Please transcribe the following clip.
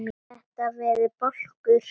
Þetta verði bálkur.